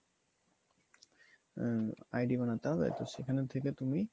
হম id বানাতে হবে, তো সেখানে থেকে তুমি